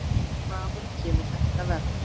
Hvaðan kemur þetta verð?